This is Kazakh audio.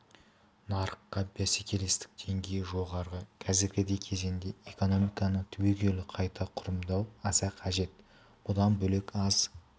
нарыққа бәсекелестік деңгейі жоғары қазіргідей кезеңде экономиканы түбегейлі қайта құрылымдау аса қажет бұдан бөлек аз